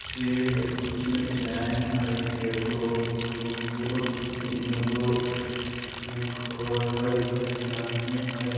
हई कुर्सी में डिज़ाइन हई एगो दुगो तीनगो उन्ने घर हई